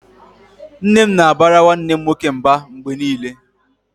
Nne m na-abara nwanne m nwoke mba mgbe niile